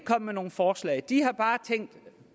med nogen forslag de har bare tænkt